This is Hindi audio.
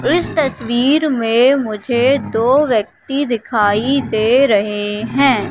इस तस्वीर में मुझे दो व्यक्ति दिखाई दे रहे हैं।